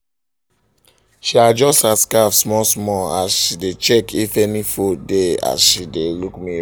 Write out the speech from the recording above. she adjust her scarf small um small as she dae check if any fold dae as she dae look mirror